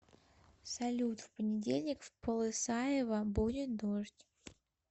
салют в понедельник в полысаева будет дождь